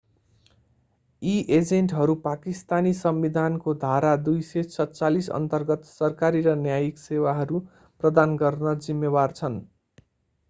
यी एजेन्टहरू पाकिस्तानी संविधानको धारा 247 अन्तर्गत सरकारी र न्यायिक सेवाहरू प्रदान गर्न जिम्मेवार छन्